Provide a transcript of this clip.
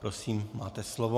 Prosím, máte slovo.